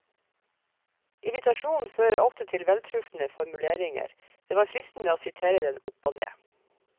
Irritasjonen fører ofte til veltrufne formuleringer, det var fristende å sitere dem opp og ned.